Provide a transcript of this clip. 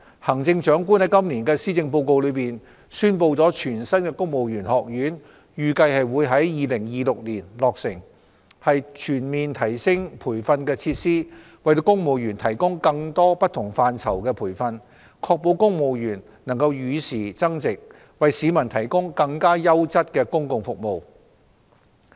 行政長官在今年的施政報告中宣布全新的公務員學院預計會於2026年落成，以全面提升培訓設施，為公務員提供更多不同範疇的培訓，確保公務員能與時增值，為市民提供更優質的公共服務。